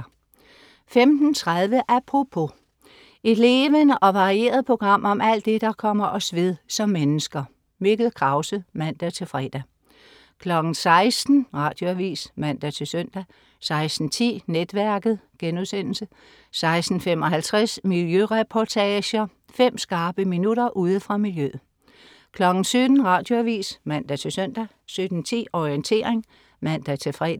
15.30 Apropos. Et levende og varieret program om alt det, der kommer os ved som mennesker. Mikkel Krause (man-fre) 16.00 Radioavis (man-søn) 16.10 Netværket* 16.55 Miljøreportager. Fem skarpe minutter ude fra miljøet 17.00 Radioavis (man-søn) 17.10 Orientering (man-fre)